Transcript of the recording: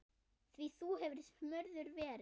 Því þú hefur smurður verið.